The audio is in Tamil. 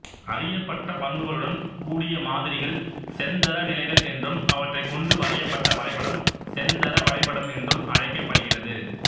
அறியப்பட்ட பண்புகளுடன் கூடிய மாதிரிகள் செந்தரநிலைகள் என்றும் அவற்றைக் கொண்டு வரையப்பட்ட வரைபடம் செந்தர வரைபடம் என்றும் அழைக்கப்படுகிறது